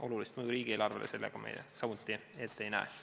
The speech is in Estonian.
Olulist mõju riigieelarvele siin me samuti ette ei näe.